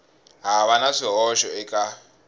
ha va na swihoxo eka